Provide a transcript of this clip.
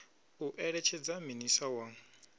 u eletshedza minis a wa